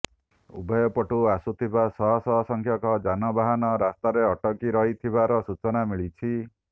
ଉଭୟପଟୁ ଆସୁଥିବା ଶହ ଶହ ସଂଖ୍ୟକ ଯାନବାହନ ରାସ୍ତାରେ ଅଟକି ରହିଥିବାର ସୂଚନା ମିଳିଛି